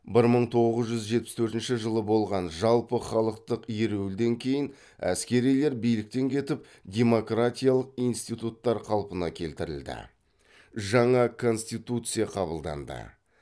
бір мың тоғыз жүз жетпіс төртінші жылы болған жалпыхалықтық ереуілден кейін әскерилер биліктен кетіп демократиялық институттар қалпына келтірілді жаңа конституция қабылданды